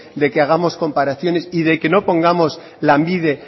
de que hagamos comparaciones y de que no pongamos lanbide